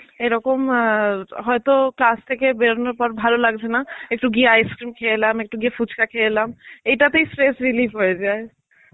এরকম হয়তো class থেকে বেরোনোর পর ভালো লাগছেনা একটু গিয়ে ice cream খেয়ে এলাম একটু গিয়ে ফুচকা কেয়ে এলাম. এটাতেই stress relieve হয়ে যায়.